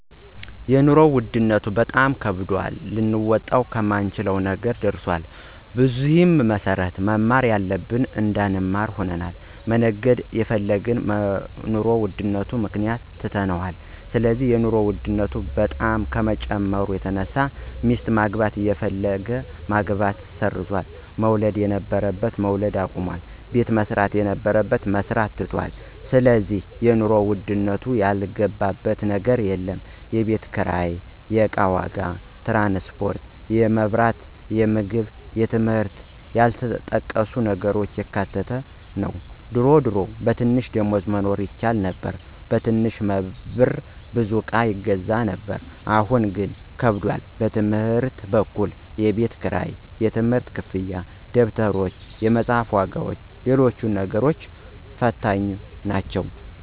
የኑሮ ውድነቱ በጣም ከባድና ልንወጣው ከማንችለው ነገር ደርሰናል። በዚህም መሰረት መማር እያለብን እንዳንማር ሆነናል፣ መነገድ እየፈለግን በኑሮ ውድነቱ ምክንያት ትተነዋል ስለዚህ የኑሮ ውድነቱ በጣም ከመጨመሩ የተነሳ ሚስት ማግባት የፈለገ ማግባቱን ሰርዟል፣ መውለድ የነበረበት መውለድ አቁሟል፣ ቤት መስራት የነበረበት መስራቱን ትቶታል ስለዚህ የኑሮ ውድነቱ ያልገባበት ነገር የለም፣ የቤት ኪራይ፣ የእቃ ዋጋ፣ ትራንስፖርት፣ የመብራት፣ የምግብ የትምህርት እና ያልተጠቀሱ ነገሮችን ያካተተ ነው ድሮ ድሮ በትንሽ ደሞዝ መኖር ይቻል ነበር በትንሽ ብር ብዙ እቃ ይገዛ ነበር አሁን ግን ከብዷል። በትምህርት በኩል የቤት ክራይ፣ የትምህርት ክፍያ፣ ደብተሮች፣ የመፅሐፍ ዋጋዎችና ሎሎችም ነገሮች ፈታኞች ናቸው።